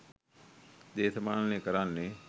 දේශපාලනය කරන්නේ